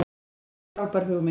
En frábær hugmynd.